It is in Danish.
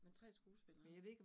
Men 3 skuespillere